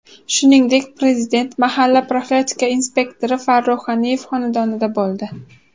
Shuningdek, Prezident mahalla profilaktika inspektori Farruh G‘aniyev xonadonida bo‘ldi.